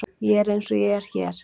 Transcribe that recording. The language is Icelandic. Ég er eins og ég er hér.